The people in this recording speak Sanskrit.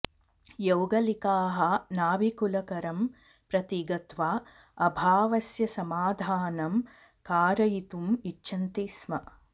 यौगलिकाः नाभिकुलकरं प्रति गत्वा अभावस्य समाधानं कारयितुम् इच्छन्ति स्म